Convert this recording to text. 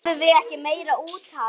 Höfðum við ekki meira úthald?